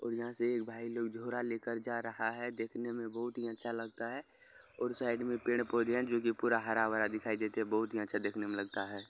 यहाँ से एक भाई लोग झोरा लेकर जा रहा है देखने में बहुत ही अच्छा लगता है और साइड में पेड़ पोधे है जो की पूरा हरा भरा दिखाई देते है जो की बहुत ही अच्छा देखने में लगता है |